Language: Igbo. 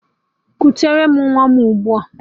Kutere m nwa ahụ ụgbua